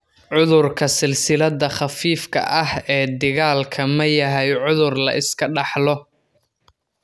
Cudurka silsilada khafiifka ah ee dhigaalka ma yahay cudur la iska dhaxlo?